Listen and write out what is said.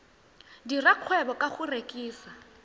dira kgwebo ka go rekisa